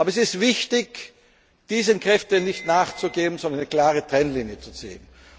Aber es ist wichtig, diesen Kräften nicht nachzugeben, sondern eine klare Trennlinie